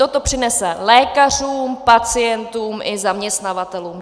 To to přinese lékařům, pacientům i zaměstnavatelům.